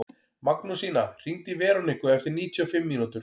Magnúsína, hringdu í Veroniku eftir níutíu og fimm mínútur.